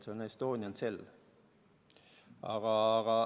See on Estonian Cell.